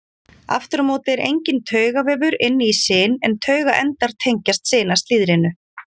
Aftur á móti er enginn taugavefur inni í sin en taugaendar tengjast sinaslíðrinu.